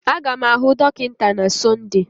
Aga m ahụ dọkịta na Sọnde